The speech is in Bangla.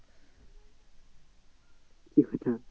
কি কথা?